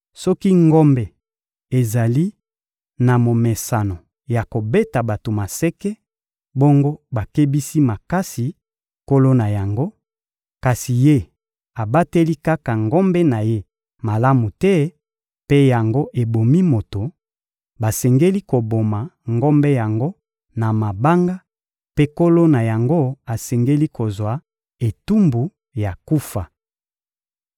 Soki ngombe ezali na momesano ya kobeta bato maseke, bongo bakebisi makasi nkolo na yango, kasi ye abateli kaka ngombe na ye malamu te mpe yango ebomi moto; basengeli koboma ngombe yango na mabanga mpe nkolo na yango asengeli kozwa etumbu ya kufa.